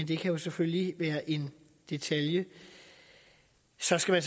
det kan selvfølgelig være en detalje så skal